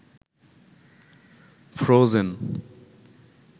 frozen